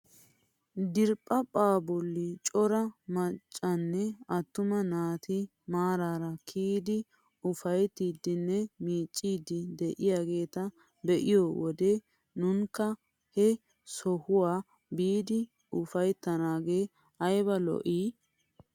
Diriphphaa bolli cora maccanne attuma naati maarara kiyidi ufayttiidinne miiccidi de'iyaageta be'iyoo wode nunakka he sohuwaa biidi ufayttanagee ayba lo"ii.